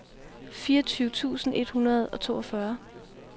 fireogtyve tusind et hundrede og toogfyrre